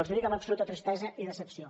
els ho dic amb absoluta tristesa i decepció